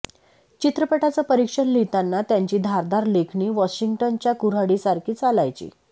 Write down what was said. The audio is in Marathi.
चित्रपटाचं परीक्षण लिहिताना त्यांची धारदार लेखणी वॉशिंग्टनच्या कुऱहाडीसारखी चालायची